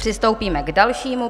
Přistoupíme k dalšímu.